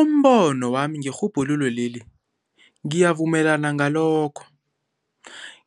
Umbono wami ngerhubhululo leli ngiyavumelana ngalokho.